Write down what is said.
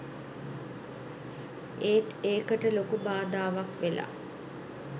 ඒත් ඒකට ලොකු බාධාවක්‌ වෙලා